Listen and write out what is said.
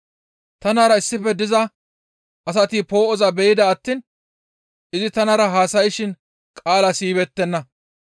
Tanara issife diza asati poo7oza be7ida attiin izi tanara haasayshin qaalaa siyibeettenna.